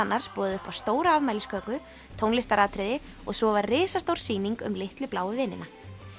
boðið upp á stóra afmælisköku tónlistaratriði og svo var risastór sýning um litlu bláu vinina